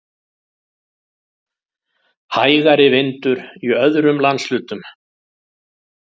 Hægari vindur í öðrum landshlutum